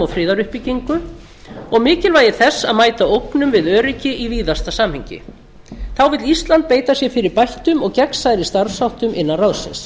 friðaruppbyggingu og mikilvægi þess að mæta ógnum við öryggi í víðasta samhengi þá vill ísland beita sér fyrir bættum og gegnsærri starfsháttum innan ráðsins